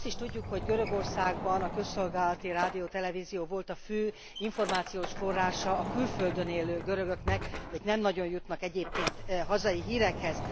Azt is tudjuk, hogy Görögországban a közszolgálati rádió, televízió volt a fő információs forrása a külföldön élő görögöknek, akik nem nagyon jutnak egyébként hazai hírekhez.